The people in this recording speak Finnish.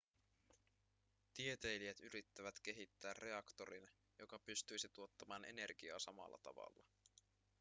tieteilijät yrittävät kehittää reaktorin joka pystyisi tuottamaan energiaa samalla tavalla